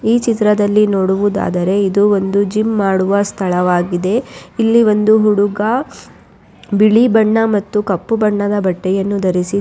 ಈ ಚಿತ್ರದಲ್ಲಿ ನೋಡುವುದಾದರೆ ಇದು ಒಂದು ಜಿಮ್ ಮಾಡುವ ಸ್ಥಳವಾಗಿದೆ ಇಲ್ಲಿ ಒಂದು ಹುಡುಗ ಬಿಳಿ ಬಣದ ಹಾಗು ಕಪ್ಪು ಬಣ್ಣದ ಬಟ್ಟೆಯನ್ನು ಧರಿಸಿ.